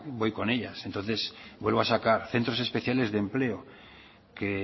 voy con ellas entonces vuelvo a sacar centros especiales de empleo que